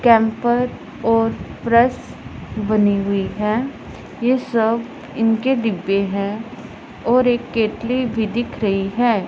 Camper और press बनी हुई है ये सब इनके डिब्बे हैं और एक कतली भी दिख रही है।